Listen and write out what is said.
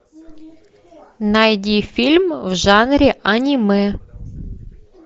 найди фильм в жанре аниме